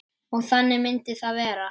Og þannig myndi það vera.